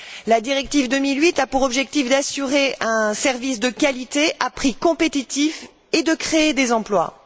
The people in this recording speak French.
La directive 2008 a pour objectif d'assurer un service de qualité à prix compétitifs et de créer des emplois.